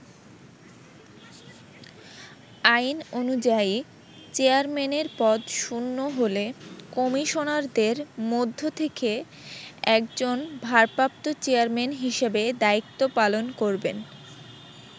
আইন অনুযায়ী, চেয়ারম্যানের পদ শূন্য হলে কমিশনারদের মধ্য থেকে একজন 'ভারপ্রাপ্ত চেয়ারম্যান' হিসেবে দায়িত্ব পালন করবেন।